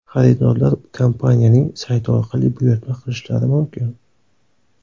Xaridorlar kompaniyaning sayti orqali buyurtma qilishlari mumkin.